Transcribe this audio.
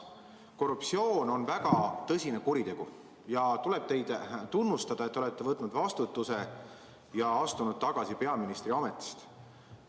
Korruptsioon on väga tõsine kuritegu ja tuleb teid tunnustada, et te olete võtnud vastutuse ja peaministri ametist tagasi astunud.